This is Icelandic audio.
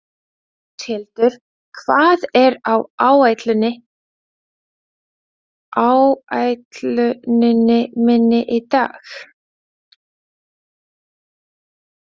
Áshildur, hvað er á áætluninni minni í dag?